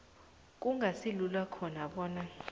kungasilula khona bona